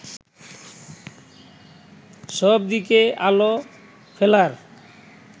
সবদিকে আলো ফেলার